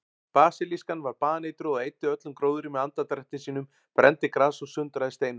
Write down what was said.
Basilískan var baneitruð og eyddi öllum gróðri með andardrætti sínum, brenndi gras og sundraði steinum.